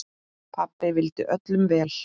Pabbi vildi öllum vel.